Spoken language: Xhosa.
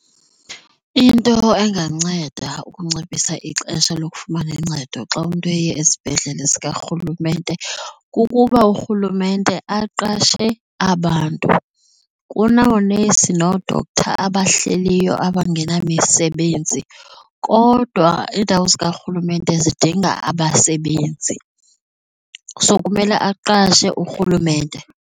Into enganceda ukunciphisa ixesha lokufumana uncedo xa umntu eye esibhedlele sikarhulumente kukuba urhulumente aqashe abantu. Kunoonesi noo-doctor abahleliyo abangenamisebenzi kodwa iindawo zikarhulumente zidinga abasebenzi. So, kumele aqashe urhulumente,